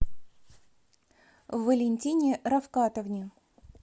валентине рафкатовне